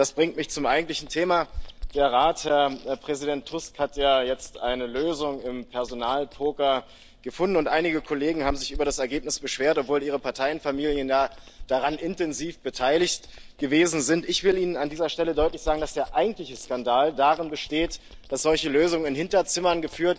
Das bringt mich zum eigentlichen Thema Der Rat, Herr Präsident Tusk, hat ja jetzt eine Lösung im Personalpoker gefunden, und einige Kollegen haben sich über das Ergebnis beschwert, obwohl ihre Parteienfamilien daran intensiv beteiligt gewesen sind. Ich will Ihnen an dieser Stelle deutlich sagen, dass der eigentliche Skandal darin besteht, dass solche Lösungen in Hinterzimmern